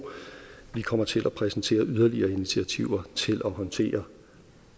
vi kommer til at præsentere yderligere initiativer til at håndtere